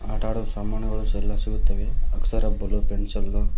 ಆಟ ಆಡೋ ಸಾಮಾನುಗಳು ಸಹ ಎಲ್ಲಾ ಸಿಗುತ್ತವೆ ಅಳ್ಸ ರಬ್ಬರು ಪೆನ್ಸಿಲ್ಲು--